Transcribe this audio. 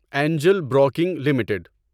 Angel Broking limited